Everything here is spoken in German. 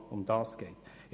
Darum geht es.